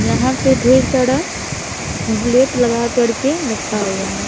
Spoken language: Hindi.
यहाँ पे ढेर सारा बुलेट लगा कर के रखा हुआ हैं ।